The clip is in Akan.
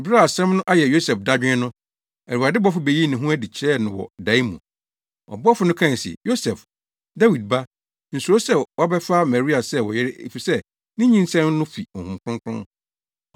Bere a asɛm no ayɛ Yosef dadwen no, Awurade bɔfo beyii ne ho adi kyerɛɛ no wɔ dae mu. Ɔbɔfo no kae se, “Yosef, Dawid ba, nsuro sɛ wobɛfa Maria sɛ wo yere efisɛ ne nyinsɛn no fi Honhom Kronkron.